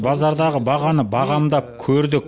базардағы бағаны бағамдап көрдік